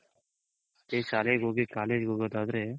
ಅದೇ ಶಾಲೆಗ್ ಹೋಗಿ college ಗೊಗೋದಾದ್ರೆ